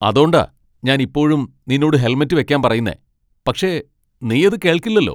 അതോണ്ടാ ഞാൻ ഇപ്പോഴും നിന്നോട് ഹെൽമെറ്റ് വയ്ക്കാൻ പറയുന്നേ, പക്ഷേ നീ അത് കേൾക്കില്ലല്ലോ.